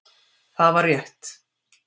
Það var rétt.